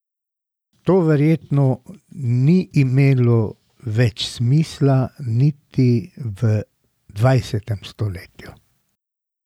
To verjetno ni imelo več smisla niti v dvajsetem stoletju!